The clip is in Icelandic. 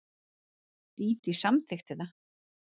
Dídí samþykkti það.